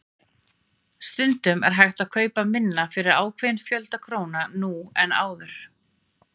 Stundum er hægt að kaupa minna fyrir ákveðinn fjölda króna nú en áður.